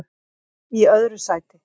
öðru sæti